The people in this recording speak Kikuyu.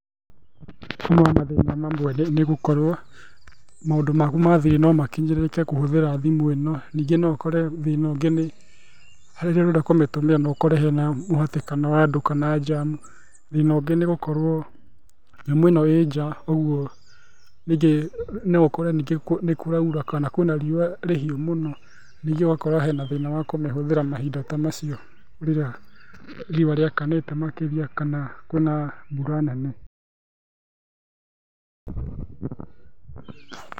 Ũmwe wa mathĩna mamwe nĩ gũkorwo maũndũ maku ma thiri no makĩnyĩrĩke kũhũthĩra thimũ ĩno, ningĩ no ũkore thĩna ũngĩ nĩ harĩa ũrenda kũmĩhũthĩra no ũkore hena mũhatĩkano wa andũ kana njamu. Thĩna ũngĩ nĩ gũkorwo nyamũ ĩno ĩ nja ũguo ningĩ no ũkore nĩ kũraura kana kwĩna riũa rĩhiũ mũno, ningĩ ũgakora hena thĩna wa kũmĩtũmĩra mahĩnda ta macio rĩrĩa riũa rĩakanĩte makĩria kana kwĩna mbura nene.